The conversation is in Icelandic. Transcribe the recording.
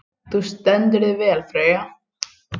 Þú stendur þig vel, Freyja!